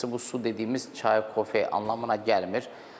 Bu su dediyimiz çay, kofe anlamına gəlmir.